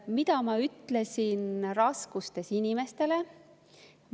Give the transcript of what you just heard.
Mida ma ütlesin raskustes inimeste kohta?